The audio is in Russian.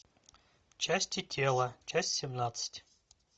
части тела часть семнадцать